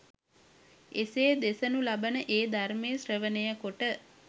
එසේ දෙසනු ලබන ඒ ධර්මය ශ්‍රවණය කොට